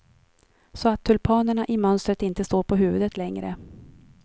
Så att tulpanerna i mönstret inte står på huvudet längre.